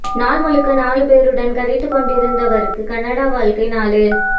நாள் முழுக்க நாலு பேருடன் கதைத்துக் கொண்டிருந்தவரிற்கு கனடா வாழ்க்கை நாலு